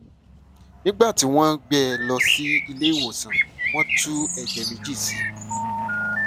nígbà tí wọn ń gbé e lọ sí ilé ìwòsàn wọn tú ẹjẹ méjì sí i